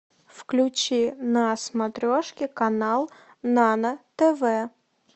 включи на смотрешке канал нано тв